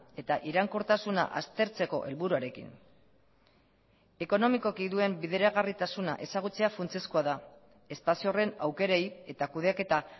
eta iraunkortasuna aztertzeko helburuarekin ekonomikoki duen bideragarritasuna ezagutzea funtsezkoa da espazio horren aukerei eta kudeaketa